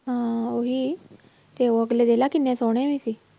ਹਾਂਂ ਉਹੀ ਤੇ ਉਹ ਅਗਲੇ ਦੇਖ ਲਾ ਕਿੰਨੇ ਸੋਹਣੇ ਵੀ ਸੀ।